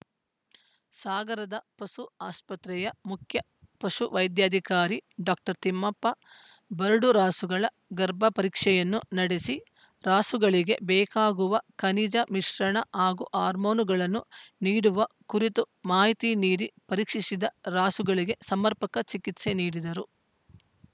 ಸಾಗರದ ಪಶು ಆಸ್ಪತ್ರೆಯ ಮುಖ್ಯ ಪಶುವೈಧ್ಯಾಧಿಕಾರಿ ಡಾಕ್ಟರ್ ತಿಮ್ಮಪ್ಪ ಬರಡು ರಾಸುಗಳ ಗರ್ಭ ಪರೀಕ್ಷೆಯನ್ನು ನಡೆಸಿ ರಾಸುಗಳಿಗೆ ಬೇಕಾಗುವ ಖನಿಜ ಮಿಶ್ರಣ ಹಾಗೂ ಹಾರ್ಮೊನ್‌ಗಳನ್ನು ನೀಡುವ ಕುರಿತು ಮಾಹಿತಿ ನೀಡಿ ಪರೀಕ್ಷಿಸಿದ ರಾಸುಗಳಿಗೆ ಸಮರ್ಪಕ ಚಿಕಿತ್ಸೆ ನೀಡಿದರು